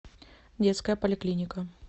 детская поликлиника